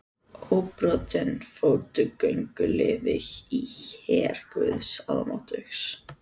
Óbrotinn fótgönguliði í her guðs almáttugs.